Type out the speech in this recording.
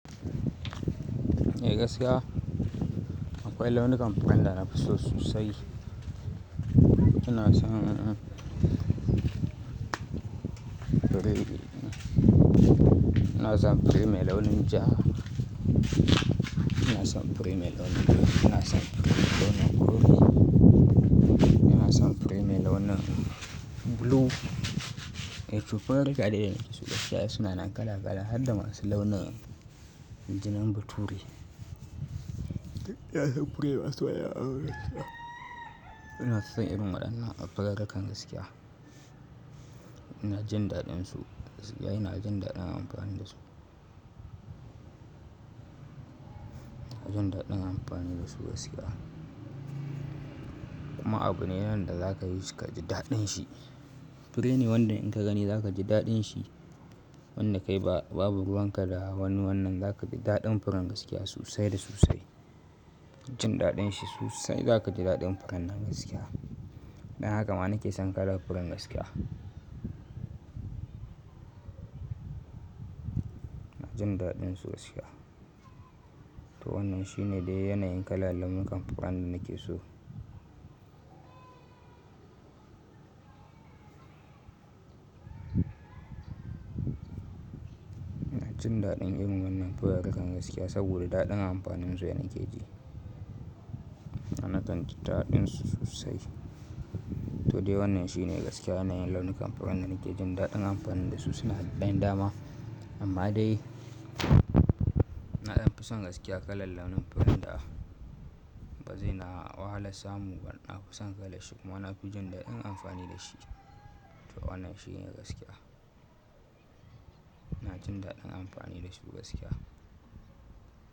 Eh gaskiya, akwai launukan furan da nafi so sosai. Ina son, ina son fure mai launin ja, ina son fure mai launin ja, ina son fure mai launin blue, ina son fure mai launin blue. Eh to furarika dai su gaskiya suna kala kala har da masu launin jinin bature. Ina son irin waɗannan a furarikar gaskiya. Ina jin daɗin su, gaskiya ina jin daɗin amfani da su. Ina jin daɗin amfani da su gaskiya. Kuma abu ne wanda za ka yi shi ka ji daɗin shi. Fure ne wanda in ka gani za ka ji daɗin shi. Wanda kai babu ruwanka da wani wannan, za ka ji daɗin furen gaskiya sosai da sosai. Jin daɗin shi sosai za ka ji daɗin furen nan gaskiya. Dan haka ma nake son kalar furen gaskiya. Ina jin daɗin su gaskiya. To wannan shi ne dai yanayin kalalukan furen da nake so. Ina jin daɗin irin wannan furarinka gaskiya saboda daɗin amfanin su dana ke ji. Na kan jin daɗin su sosai. To dai wannan shi ne gaskiya yanayin launukan furen da nake jin daɗin amfani da su suna da ɗan dama. Amma dai, naɗin fusan gaskiya kalar launin furen da ba zai na wahala samu wannan fusan kala shi kuma na fi jin daɗin amfani da shi. To wannan shi ne gaskiya. Ina jin daɗin amfani da su gaskiya.